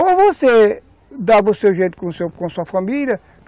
Ou você dava o seu jeito com sua família.